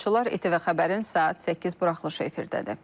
ATV xəbərin saat 8 buraxılışı efirdədir.